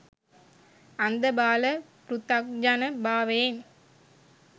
අන්ධබාල පෘථග්ජන භාවයෙන්